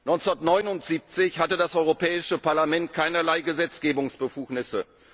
1979 hatte das Europäische Parlament keinerlei Gesetzgebungsbefugnisse